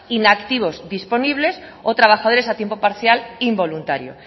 inactivos disponibles o trabajadores a tiempo parcial involuntarios